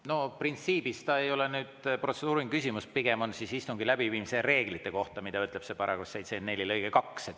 No printsiibilt see ei ole protseduuriline küsimus, pigem on see istungi läbiviimise reeglite kohta,, mida ütleb § 74 lõige 2.